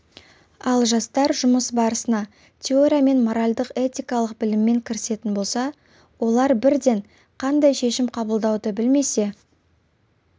ал жастар жұмыс барысына теория мен моральдық этикалық біліммен кірісетін болса олар бірден қандай шешім қабылдауды білмесе